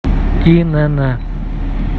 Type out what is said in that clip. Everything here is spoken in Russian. инн